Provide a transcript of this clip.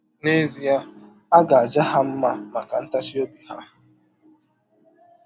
N’ezie a ga - aja ha mma maka ntachi ọbi ha.